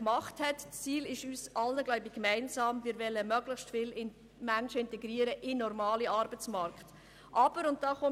Gemeinsam ist uns allen sicher das Ziel, möglichst viele Menschen in den normalen Arbeitsmarkt zu integrieren.